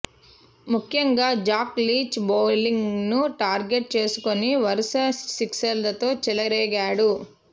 ముఖ్యంగా Jack Leach బౌలింగ్ను టార్గెట్గా చేసుకొని వరుస సిక్సర్లతో చెలరేగాడు